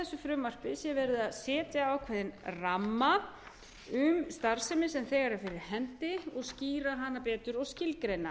frumvarpi sé verið að setja ákveðinn ramma um starfsemi sem þegar er fyrir hendi og skýra hana betur og skilgreina